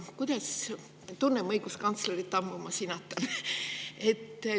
Tunnen õiguskantslerit ammu, seepärast sinatan.